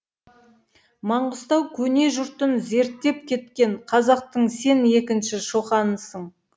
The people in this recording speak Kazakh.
маңғыстау көне жұртын зерттеп кеткен қазақтың сен екінші шоқанысың